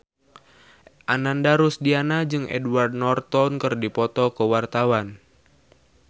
Ananda Rusdiana jeung Edward Norton keur dipoto ku wartawan